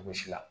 Cogo si la